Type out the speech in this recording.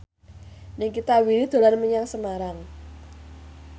Nikita Willy dolan menyang Semarang